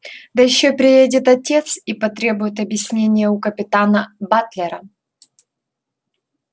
да ещё приедет отец и потребует объяснения у капитана батлера